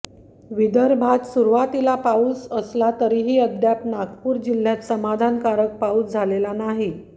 विदर्भात सुरुवातीला पाऊस असला तरीही अद्याप नागपूर जिल्ह्यात समाधानकारक पाऊस झालेला नाही